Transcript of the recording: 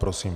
Prosím.